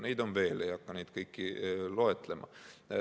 Ja neid on veel, ei hakka neid kõiki loetlema.